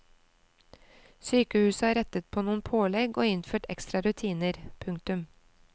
Sykehuset har rettet på noen pålegg og innført ekstra rutiner. punktum